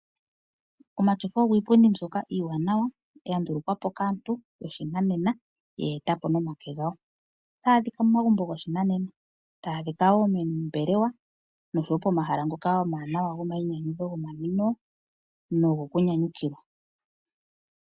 Omatyofa ogo iipundi mbyoka iiwanawa, ya ndulukwa po kaantu yoshinanena. Oya etwa po nomake gawo ohaga adhika momagumbo goshinanena, moombelewa, osho wo pomahala ngoka omawanawa gomainyanyudho nogomanwino.